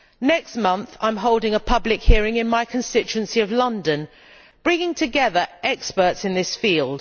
Next month, I am holding a public hearing in my constituency of London bringing together experts in this field.